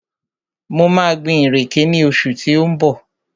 Mo maa gbin ìrèké ní oṣù tí ó ń bọ̀